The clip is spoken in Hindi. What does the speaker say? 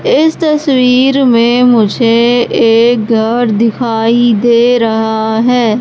इस तस्वीर में मुझे एक घर दिखाई दे रहा है।